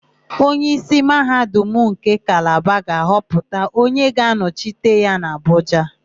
Onyeísí Mahadum nke Kalaba ga-ahọpụta onye ga-anọchite ya n'Abụja.